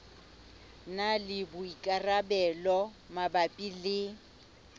na le boikarabelo mabapi le